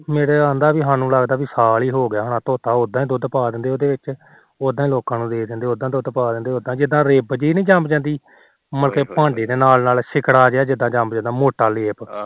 ਮੈਨੂੰ ਲਾਗਦਾ ਪੀ ਸਾਲ ਹੀ ਹੋਗਿਆ ਹੋਣਾ ਉਦਾ ਦੁਧ ਪਾ ਦਿੰਦੇ ਉਹਦੇ ਵਿੱਚ ਉਦਾ ਲੋਕਾ ਨੂੰ ਦੇ ਦਿੰਦੇ ਉਦਾ ਵਿੱਚ ਪਾ ਦਿੰਦੇ ਜਿਦਾ ਰਿਪ ਜੀ ਨੀ ਜੰਮ ਜਾਂਦੀ ਮੁੜਕੇ ਭਾਂਡ਼ੇ ਦੇ ਨਾਲ ਸਿਲਕਾ ਜਿਹਾ ਜੰਮ ਜਾਂਦਾ ਮੋਟਾ ਲੇਪ